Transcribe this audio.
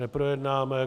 Neprojednáme.